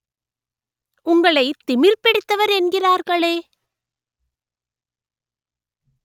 உங்களை திமிர் பிடித்தவர் என்கிறார்களே